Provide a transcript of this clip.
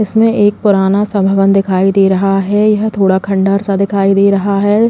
इसमें एक पुराना सा भवन दिखाई दे रहा है। यह थोड़ा खंडर सा दिखाई दे रहा है।